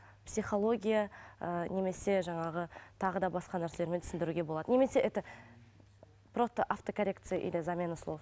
психология ыыы немесе жаңағы тағы да басқа нәрселермен түсіндіруге болады немесе это просто автокоррекция или замена слов